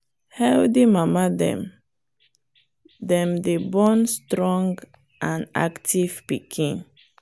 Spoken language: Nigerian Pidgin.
healthy mama dem dem day born strong and active piken